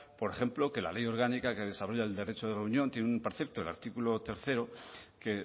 por ejemplo que la ley orgánica que desarrolla el derecho de reunión tiene un precepto el artículo tercero que